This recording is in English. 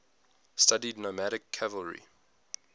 studied nomadic cavalry